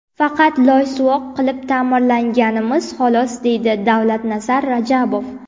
Faqat loysuvoq qilib ta’mirlaganmiz, xolos”, deydi Davlatnazar Rajabov.